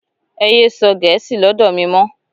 Ẹ yé sọ gẹ̀ẹ́sì lọ́dọ̀ mi mọ́!